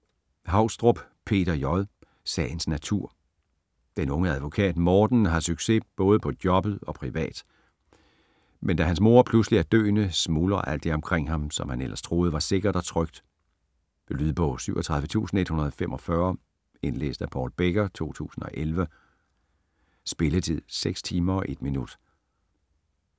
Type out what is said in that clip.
Haugstrup, Peter J.: Sagens natur Den unge advokat Morten har succes både på jobbet og privat, men da hans mor pludselig er døende, smuldrer alt det omkring ham, som han ellers troede var sikkert og trygt. Lydbog 37145 Indlæst af Paul Becker, 2011. Spilletid: 6 timer, 1 minutter.